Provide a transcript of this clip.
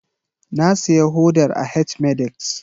Na siya hodar a H-medix